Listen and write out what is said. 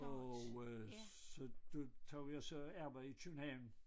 Og øh så du tager jo jeg så arbejdede i København